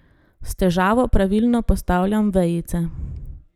S težavo pravilno postavljam vejice.